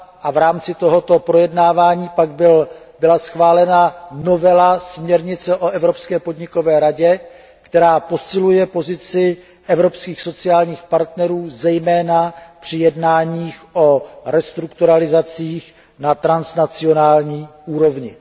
a v rámci tohoto projednávání pak byla schválena novela směrnice o evropské podnikové radě, která posiluje pozici evropských sociálních partnerů zejména při jednáních o restrukturalizacích na transnacionální úrovni.